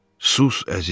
Sus, əzizim.